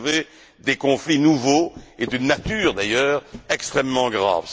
Bové, des conflits nouveaux et d'une nature d'ailleurs extrêmement grave.